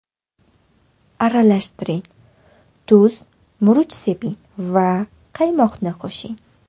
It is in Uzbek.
Aralashtiring, tuz, murch seping va qaymoqni qo‘shing.